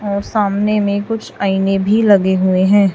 और सामने में कुछ आईने भी लगे हुए हैं।